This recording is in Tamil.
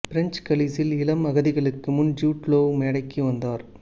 பிரெஞ்சு கலீஸில் இளம் அகதிகளுக்கு முன் ஜூட் லோவ் மேடைக்கு வந்தார்